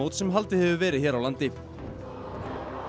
sem haldur hefur verið hér á landi og